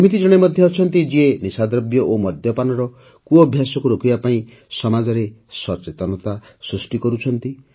ଏମିତି ଜଣେ ମଧ୍ୟ ଅଛନ୍ତି ଯିଏ ନିଶାଦ୍ରବ୍ୟ ଓ ମଦ୍ୟପାନର କୁଅଭ୍ୟାସକୁ ରୋକିବା ପାଇଁ ସମାଜରେ ସଚେତନତା ସୃଷ୍ଟି କରୁଛନ୍ତି